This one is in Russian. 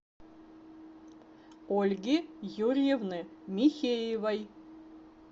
ольги юрьевны михеевой